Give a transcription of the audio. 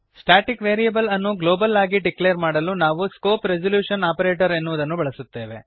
static variable ಅನ್ನು global ಆಗಿ declare ಮಾಡಲು ನಾವು ಸ್ಕೋಪ್ ರೆಸಲ್ಯೂಶನ್ ಆಪರೇಟರ ಎನ್ನುವುದನ್ನು ಬಳಸುತ್ತೇವೆ